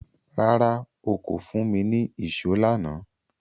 Rárá, o kò fún mi ní ìṣó lánàá